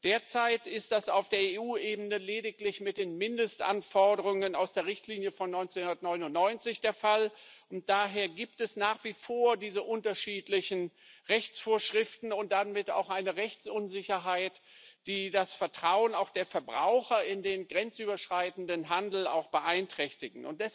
Derzeit ist das auf der EU Ebene lediglich mit den Mindestanforderungen aus der Richtlinie von 1999 der Fall, und daher gibt es nach wie vor diese unterschiedlichen Rechtsvorschriften und damit auch eine Rechtsunsicherheit, die auch das Vertrauen der Verbraucher in den grenzüberschreitenden Handel beeinträchtigen.